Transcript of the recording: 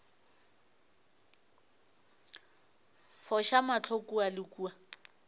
foša mahlo kua le kua